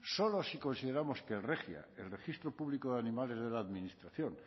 solo si consideramos que el regia el registro público de animales de la administración